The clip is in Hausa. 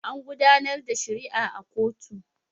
An gudanar da shari'a a kotu.